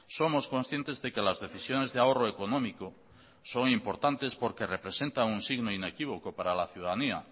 somos conscientes de que las decisiones de ahorro económico son importantes porque representan un signo inequívoco para la ciudadanía